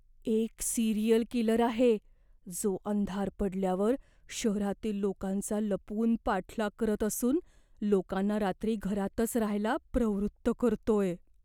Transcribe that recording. एक serial killer आहे, जो अंधार पडल्यावर शहरातील लोकांचा लपून पाठलाग करत असून लोकांना रात्री घरातच राहायला प्रवृत्त करतोय.